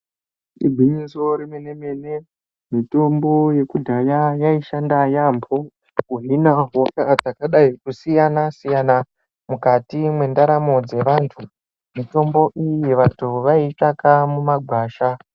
Igwinyiso remene-mene, mitombo yekudhaya yaishanda yaampho, kuhina hosha dzakadai kusiyana-siyana, mukati mwendaramo dzevanthu. Mitombo iyi vanthu vaiitsvaka mumagwasha.